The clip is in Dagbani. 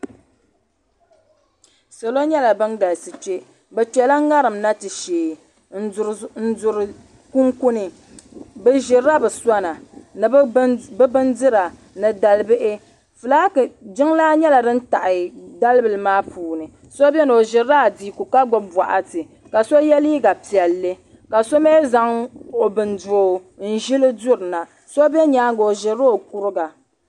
Salo nyɛla ban galisi kpe bɛ kpela ŋarim na ti shee n duri kunkuni bɛ ʒirila bɛ sona ni bɛ bindira ni dal'bihi jiŋlaa nyɛla din taɣi dalibila maa puuni so biɛni o ʒirila adiiku ka gbibi boɣati ka so ye liiga piɛlli ka so mee zaŋ o bin'doo n ʒili durina so be nyaanga o ʒirila o kuriga.